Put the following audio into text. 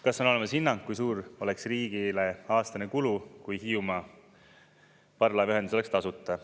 "Kas on olemas hinnang, kui suur oleks riigile aastane kulu, kui parvlaevaühendus Hiiumaaga oleks tasuta?